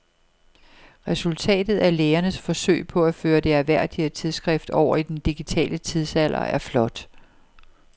Resultatet af lægernes forsøg på at føre det ærværdige tidsskrift over i den digitale tidsalder er flot.